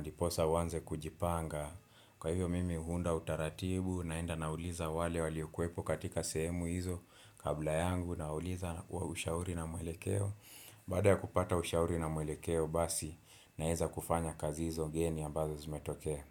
ndiposa uanze kujipanga. Kwa hivyo mimi huunda utaratibu, naenda nauliza wale waliokuepo katika sehemu hizo kabla yangu, nawauliza ushauri na mwelekeo. Baada ya kupata ushauri na mwelekeo basi, naweza kufanya kazi hizo geni ambazo zimetoke.